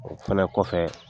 O fɛnɛ kɔfɛ